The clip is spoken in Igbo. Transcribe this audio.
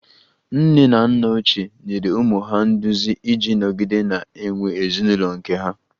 Nne na nna ochie nyere ụmụ ha nduzi iji nọgide na-enwe ezinụlọ nke ha